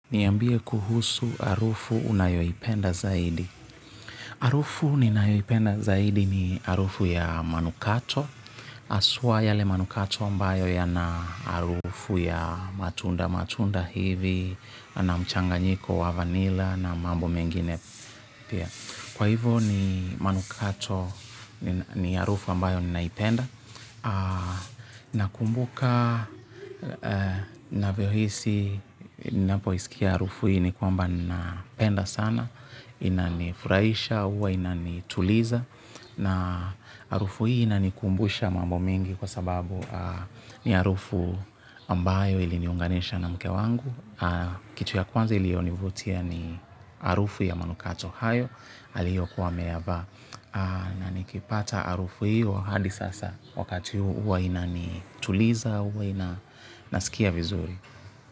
Niambie kuhusu harufu unayoipenda zaidi? Harufu ambayo ninayoipenda zaidi ni harufu ya manukato. Haswa yale manukato ambayo yana harufu ya matunda matunda hivi, na mchanganyiko wa vanilla na mambo mengine pia. Kwa hivo, ni manukato ni harufu ambayo ninaipenda. Nakumbuka navyohisi napoisikia harufu hii, ni kwamba napenda sana. Inanifurahisha huwa inanituliza. Na harufu hii inanikumbusha mambo mengi kwa sababu ni harufu ambayo iliniunganisha na mke wangu. Kitu ya kwanza ilionivutia ni harufu ya manukato hayo aliyokuwa ameyavaa na nikipata harufu hio hadi sasa wakati huu huwa inanituliza huwa nasikia vizuri.